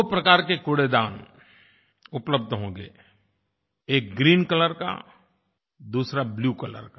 दो प्रकार के कूड़ेदान उपलब्ध होंगे एक ग्रीन कलर का दूसरा ब्लू कलर का